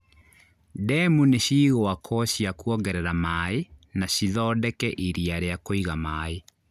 Demu nĩ cigũakwo cia kuongerera maaĩ na cithondeke iria rĩa kũiga maaĩ